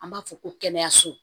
An b'a fɔ ko kɛnɛyaso